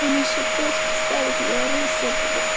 он ещё точки ставит я ору с этого